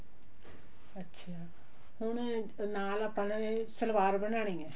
ਅੱਛਾ ਹੁਣ ਨਾਲ ਆਪਾਂ ਨੇ ਸਲਵਾਰ ਬਣਾਉਣੀ ਆ